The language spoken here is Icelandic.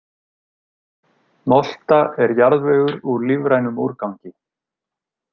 Molta er jarðvegur úr lífrænum úrgangi.